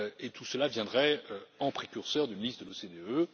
tout cela viendrait en précurseur d'une liste de l'OCDE.